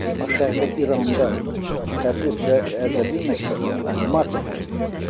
Aşağıda İranda Təbriz və Ərdəbil məktəbi var, animasiya məktəbi var.